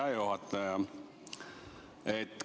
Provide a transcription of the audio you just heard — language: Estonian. Hea juhataja!